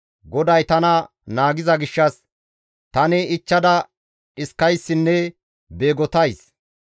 GODAY tana naagiza gishshas, tani ichchada dhiskayssinne beegottays.